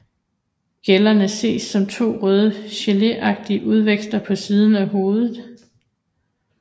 Gællerne ses som to røde grenagtige udvækster på siden af hovedet